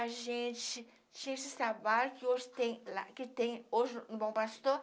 A gente tinha esses trabalhos que hoje tem lá, que tem hoje no Bom Pastor.